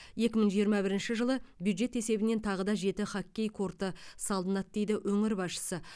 екі мың жиырма бірінші жылы бюджет есебінен тағы жеті хоккей корты салынады дейді өңір басшысы